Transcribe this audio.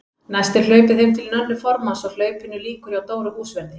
Næst er hlaupið heim til Nönnu formanns og hlaupinu lýkur hjá Dóru húsverði.